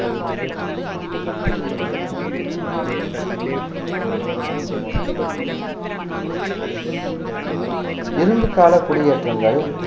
இரும்புக்கால குடியேற்றங்கள்